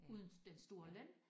Uden den store løn